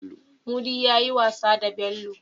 Mudi yayi wasa da Bello